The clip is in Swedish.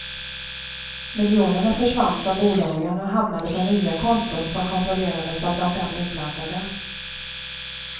Miljonerna försvann från bolagen och hamnade på nya konton, som kontrollerades av de fem inblandade.